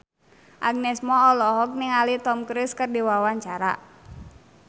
Agnes Mo olohok ningali Tom Cruise keur diwawancara